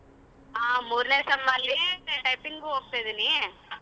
ಹಾ ಮೂರನೇ sem ಅಲ್ಲಿ typing ಉ ಹೋಗ್ತಿದಿನಿ.